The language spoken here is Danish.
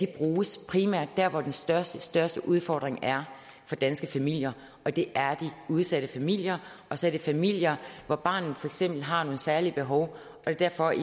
bruges der hvor den største største udfordring er for danske familier og det er de udsatte familier og så er det familier hvor barnet for eksempel har nogle særlige behov det er derfor at